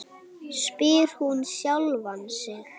spyr hann sjálfan sig.